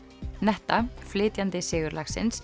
netta flytjandi